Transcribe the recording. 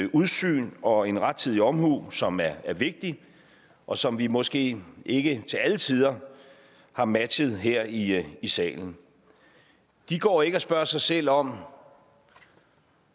udsyn og en rettidig omhu som er vigtig og som vi måske ikke til alle tider har matchet her i salen de går ikke og spørger sig selv om